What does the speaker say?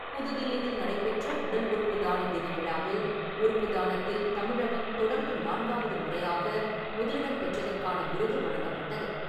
புதுதில்லியில் நடைபெற்ற உடல் உறுப்பு தான தின விழாவில் , உறுப்பு தானத்தில் தமிழகம் தொடர்ந்து நான்காவது முறையாக முதலிடம் பெற்றதற்கான விருது வழங்கப்பட்டது .